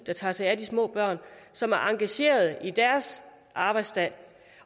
der tager sig af de små børn og som er engagerede i deres arbejdsdag